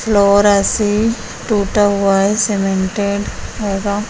Flora से टूटा हुआ है सीमेंटेड होगा।